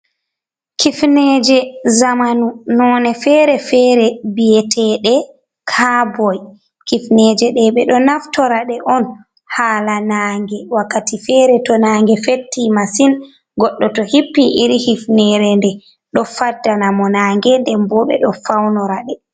Kifineeje jamanu noone feere- feere; biyeteeɗe caaboy, kifineeje ɗe, ɓe ɗo naftora ɗe on haala naange, wakkati feere to naange fetti masin goɗɗo to hippi irin hifineere nde, ɗo faddana mo naange, nden boo ɓe ɗo fawnora ɗe.